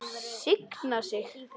Signa sig?